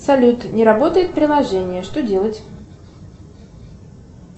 салют не работает приложение что делать